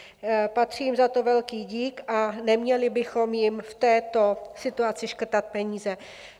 Patří jim za to velký dík a neměli bychom jim v této situaci škrtat peníze.